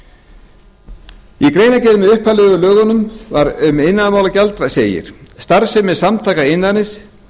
í greinargerð með upphaflegum lögum um iðnaðarmálagjald segir starfsemi samtaka iðnaðarins